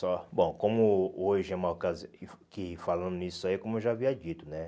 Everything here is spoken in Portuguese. Só, bom, como hoje é uma ocasi, que que falando nisso aí, como eu já havia dito, né?